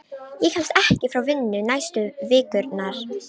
Ég kemst ekki frá vinnu næstu vikurnar.